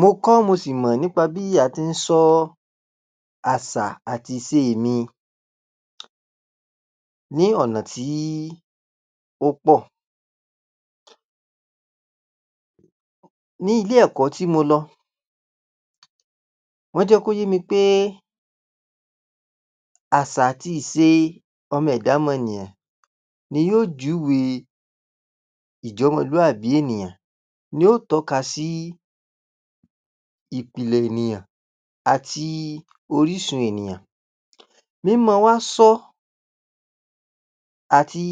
Mo kọ́ mo sì mọ̀ bí a tí ń sọ àsà àti ìse mi ní ọ̀nà tíí ó pọ̀. Ní ilé ẹ̀kọ́ tí mo lọ, wọ́n jẹ́ kó yé mi péé àsà àti ìse ọmọ ẹ̀dá mọnìyàn ni yóó júwe ìjọ́mọlúàbí ènìyàn, ní ó tọ́ka síí ìpìlẹ̀ ènìyàn, àti orísun ènìyàn. Mí mọ́ ọn wá sọ́ àti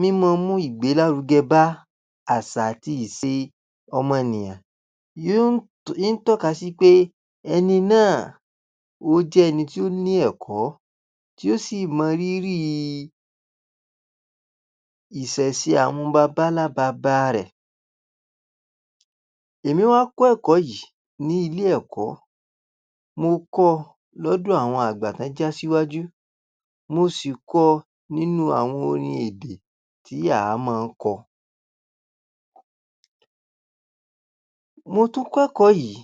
mí mọ́ ọn mú ìgbèlárugẹ bá àsà àti ìse ọmọnìyàn yó ń t...ń tọ́ka sí wí pé ẹni náà ó jẹ́ ẹni tí ó ní ẹ̀kọ́ tí ó sì mọ rírìì ìsẹ̀se àwọn babańlá baba rẹ̀. Èmi wá kọ́ ẹ̀kọ́ yìí ní ilé ẹ̀kọ́. Mo kọ́ ọ lọ́dọ̀ àwọn àgbà tán án jásíwájú. Mo sì kọ ọ nínú àwọn orin èdè tí à mọ́ ń kọ. Mo tún kẹ́kọ̀ọ́ yìí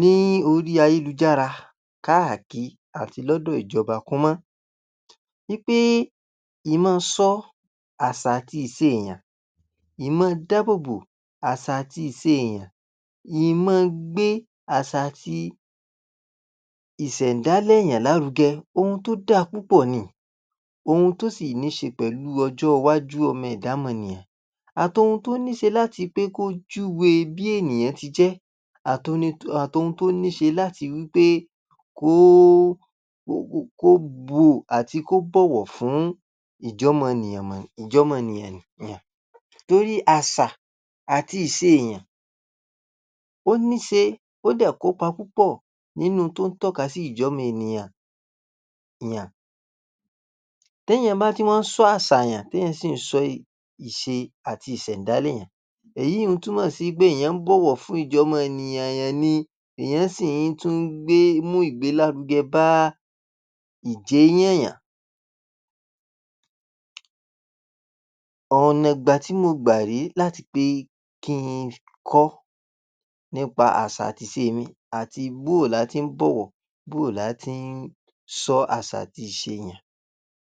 ní orí ayélujára káàki àti lọ́dọ̀ ìjọba. Kúnmọ́ ni péé ìmọ́ọsọ́ àsà àti ìse èèyàn, ìmọ́ọdábòbò àsà àti ìse èèyàn ìmọọgbé àsà àti ìsẹ̀ńdálẹ̀ èèyàn lárugẹ ohun tó dáa púpọ̀ niì. Ohun tó sì níí ṣe pẹ̀lú ọjọ́ ìwájú ọmọ ẹ̀dá mọnìyàn. Àtohun tó níí ṣe láti pé kó júwe bí ènìyàn ti jẹ́. Àtoni...àtohun tó ní ṣe láti wí pé kóó...kókó...kó o bù...àti kó bọ̀wọ̀ fún ìjọ́mọnìyàn mọ̀...ìjọ́mọnìyàn nìyàn. Torí àsà àti ìse èèyàn ó ní se ó dẹ̀ kópa nínú n tó ń tọ́ka sí ìjẹ́ ọmọ ènìyàn yàn. Téèyàn bá ti wá ń sọ àsà èèyàn téèyàn sì ń sọ ìṣe àti ìsẹ̀ńdálẹ̀ èèyàn, èyún un túmọ̀ sí pé èèyàn ń bọ̀wọ̀ fún ìjọ́mọnìyàn èèyàn ni, èèyàn sì tún ń gbé mú ìgbèlárugẹ bá ìjééyàn yàn. Ọ̀nààgbà tí mo gbà ré láti pé kí n fi kọ́ nípa àsà àti ìse mi àti bóo là á tí ń bọ̀wọ̀ bóo là á tí ń sọ àsà àti ìse èèyàn.